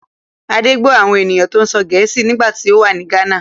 Adé gbọ́ àwọn ènìyàn tó ń sọ èdè Gèésì nígbà tí ó wà ní Ghana.